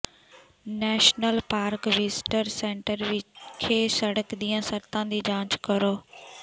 national park visitor centre ਵਿਖੇ ਸੜਕ ਦੀਆਂ ਸ਼ਰਤਾਂ ਦੀ ਜਾਂਚ ਕਰੋ